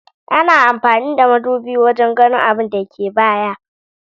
Ana amfani da madubi wajan ganin abinda ke baya